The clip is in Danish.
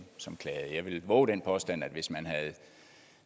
som klagede jeg vil vove den påstand at hvis man havde